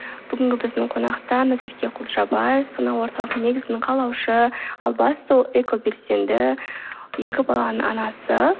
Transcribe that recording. бүгінгі біздің қонақта назерке құлжабай сана орталығының негізін қалаушы ал бастысы ол экобелсенді екі баланың анасы